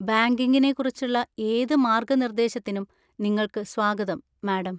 ബാങ്കിംഗിനെക്കുറിച്ചുള്ള ഏത് മാർഗനിർദേശത്തിനും നിങ്ങൾക്ക് സ്വാഗതം, മാഡം.